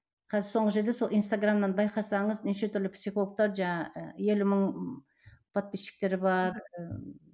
қазір соңғы жерде сол инстаграмнан байқасаңыз неше түрлі психологтар жаңағы елу мың подписчиктері бар ыыы